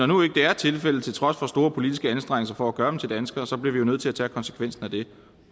nu ikke er tilfældet til trods for store politiske anstrengelser for at gøre dem til danskere bliver vi jo nødt til at tage konsekvensen af det